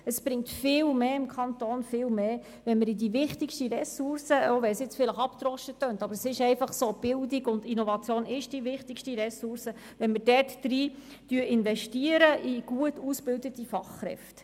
Es bringt dem Kanton viel, viel mehr, wenn wir in die wichtigste Ressource – auch wenn es jetzt vielleicht abgedroschen tönt, aber es ist einfach so, dass Bildung und Innovation die wichtigste Ressource ist – investieren, in gut ausgebildete Fachkräfte.